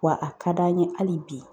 Wa a ka d'an ye hali bi